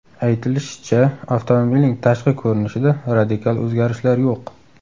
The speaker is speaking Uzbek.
Aytilishicha, avtomobilning tashqi ko‘rinishida radikal o‘zgarishlar yo‘q.